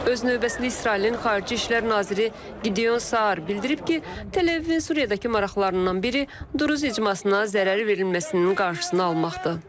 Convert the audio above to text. Öz növbəsində İsrailin xarici İşlər naziri Qideon Saar bildirib ki, Təl-Əvivin Suriyadakı maraqlarından biri Druz icmasına zərər verilməsinin qarşısını almaqdır.